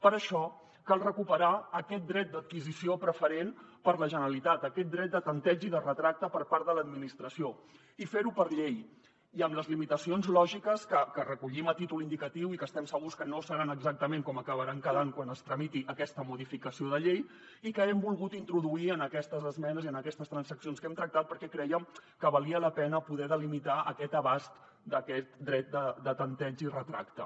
per això cal recuperar aquest dret d’adquisició preferent per a la generalitat aquest dret de tanteig i retracte per part de l’administració i fer ho per llei i amb les limitacions lògiques que recollim a títol indicatiu i que estem segurs que no seran exactament com acabaran quedant quan es tramiti aquesta modificació de llei i que hem volgut introduir en aquestes esmenes i en aquestes transaccions que hem tractat perquè crèiem que valia la pena poder delimitar aquest abast d’aquest dret de tanteig i retracte